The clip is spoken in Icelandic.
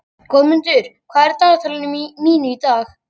Goðmundur, hvað er í dagatalinu mínu í dag?